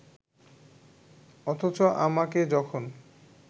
অথচ আমাকে যখন